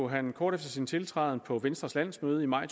han kort efter sin tiltræden på venstres landsmøde i maj